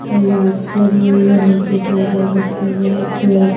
और लाइट्स लगी हुई है निचे टेबल रखे हुए है चेयर --